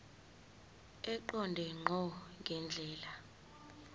eqonde ngqo ngendlela